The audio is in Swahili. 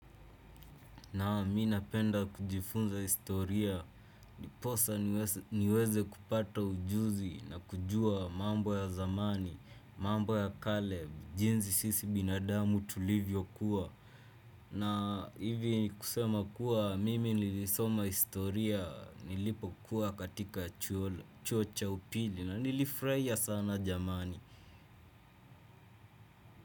Naam mimi napenda kujifunza historia. Ndiposa niweze kupata ujuzi na kujua mambo ya zamani, mambo ya kale, jinsi sisi binadamu tulivyokuwa. Na hivi kusema kuwa mimi nilisoma historia nilipokuwa katika chuo cha upili na nilifraia sana jamani.